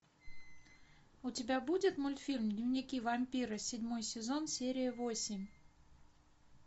у тебя будет мультфильм дневники вампира седьмой сезон серия восемь